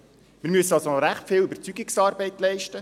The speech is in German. Wir müssen somit recht viel Überzeugungsarbeit leisten.